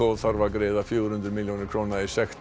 þarf að greiða fjögur hundruð milljónir króna í sekt